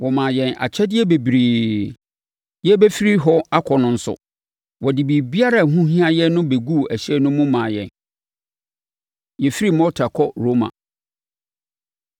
Wɔmaa yɛn akyɛdeɛ bebree. Yɛrebɛfiri hɔ akɔ no nso, wɔde biribiara a ɛho hia yɛn no bɛguu ɛhyɛn no mu maa yɛn. Yɛfiri Malta Kɔ Roma